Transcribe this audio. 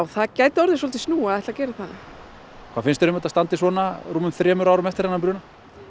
það gæti orðið snúið að gera það hvað finnst þér um að þetta standi svona rúmum þremur árum eftir brunann